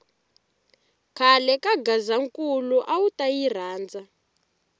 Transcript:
khale ka gazankulu awuta yi rhandza